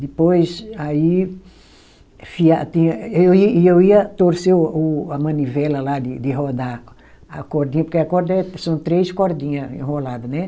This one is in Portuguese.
Depois, aí, tinha eu e, e eu ia torcer o a manivela lá de de rodar a cordinha, porque a corda é são três cordinha enrolada, né?